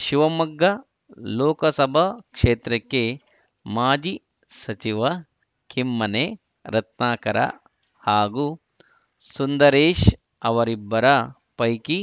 ಶಿವಮೊಗ್ಗ ಲೋಕಸಭಾ ಕ್ಷೇತ್ರಕ್ಕೆ ಮಾಜಿ ಸಚಿವ ಕಿಮ್ಮನೆ ರತ್ನಾಕರ ಹಾಗೂ ಸುಂದರೇಶ್‌ ಅವರಿಬ್ಬರ ಪೈಕಿ